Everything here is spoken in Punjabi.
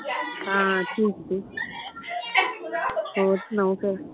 ਹਾਂ ਠੀਕ ਠੀਕ ਹੋਰ ਸੁਣਾਓ ਫ਼ੇਰ